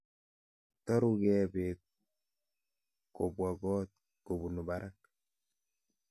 Toru gee beek kobwa kot kobunu barak.